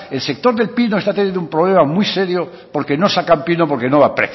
el sector del pino está teniendo un problema muy serio porque no sacan pino porque no da